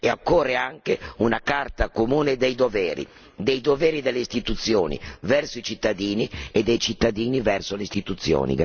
Occorre anche una Carta comune dei doveri, dei doveri delle istituzioni verso i cittadini e dei cittadini verso le istituzioni.